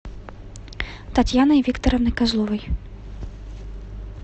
татьяной викторовной козловой